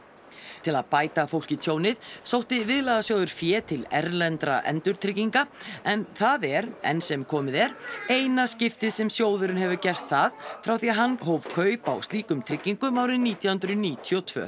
til að bæta fólki tjónið sótti Viðlagasjóður fé til erlendra endurtrygginga en það er enn sem komið er eina skiptið sem sjóðurinn hefur gert það frá því hann hóf kaup á slíkum tryggingum árið nítján hundruð níutíu og tvö